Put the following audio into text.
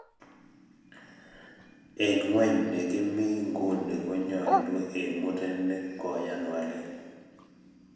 eng ng'weny nekimii nguni ko nyoolu eng murenik koyan walet